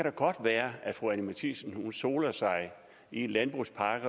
kan godt være at fru anni matthiesen soler sig i en landbrugspakke